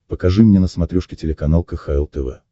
покажи мне на смотрешке телеканал кхл тв